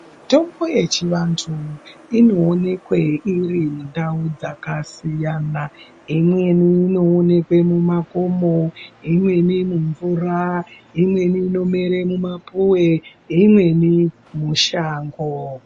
Mitombo yechivantu inoonekwe iri mundau dzakasiyana imweni inoonekwe mumakomo, imweni mumvura, imweni inomwere mumapuve, imweni mushango.